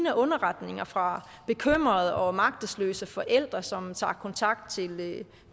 af underretninger fra bekymrede og magtesløse forældre som tager kontakt til